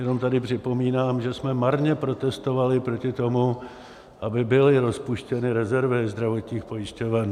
Jenom tady připomínám, že jsme marně protestovali proti tomu, aby byly rozpuštěny rezervy zdravotních pojišťoven.